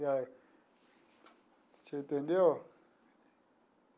Você entendeu?